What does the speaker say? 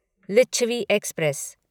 Licchavi express